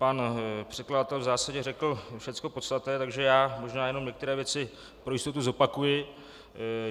Pan předkladatel v zásadě řekl všechno podstatné, takže já možná jenom některé věci pro jistotu zopakuji.